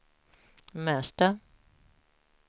Märsta